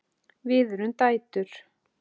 Við erum dætur!